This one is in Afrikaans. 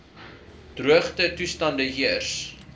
droogte toestande heers